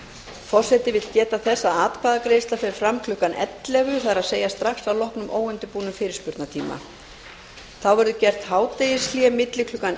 forseti vill geta þess að atkvæðagreiðsla fer fram klukkan ellefu það er strax að loknum óundirbúnum fyrirspurnatíma þá verður gert hádegishlé milli klukkan